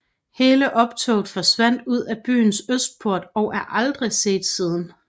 Hele optoget forsvandt ud af byens østport og er aldrig set siden